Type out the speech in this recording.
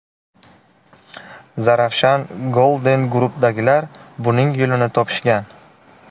Zarafshan Golden Group’dagilar buning yo‘lini topishgan.